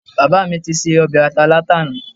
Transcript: Bàbá mi ti se ọbẹ̀ ata látàná